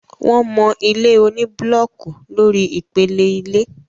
wọ́n mọ ilé oní búlọọkù lórí ìpele ilé